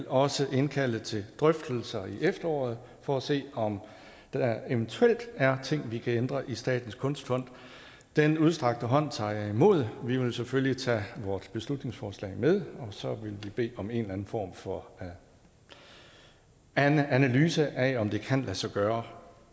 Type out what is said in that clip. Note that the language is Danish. også vil indkalde til drøftelser i efteråret for at se om der eventuelt er ting vi kan ændre i statens kunstfond den udstrakte hånd tager jeg imod og vi vil selvfølgelig tage vores beslutningsforslag med og så vil vi bede om en eller anden form for analyse af om det kan lade sig gøre